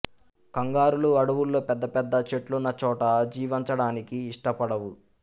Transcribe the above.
కంగారూలు అడవుల్లో పెద్ద పెద్ద చెట్లున్న చోట జీవంచడానికి ఇష్టపడవు